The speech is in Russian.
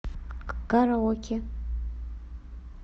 караоке